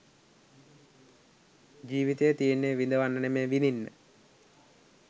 ජීවිතය තියෙන්නෙ විඳවන්න නෙමෙයි විඳින්න.